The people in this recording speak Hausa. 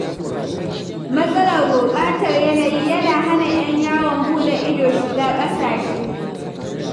Matsalar gurɓatar yanayin yana hana 'yan yawon buɗe ido shiga ƙasashe.